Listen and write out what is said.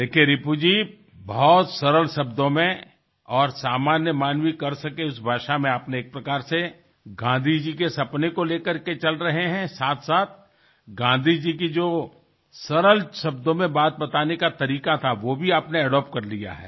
देखिये रिपु जी बहुत सरल शब्दों में और सामान्य मानवी कर सके उस भाषा में आपने एक प्रकार से गाँधी जी के सपने को ले करके चल रहें हैं साथ साथ गाँधी जी की जो सरल शब्दों में बात बताने का तरीका था वो भी आपने एडॉप्ट कर लिया है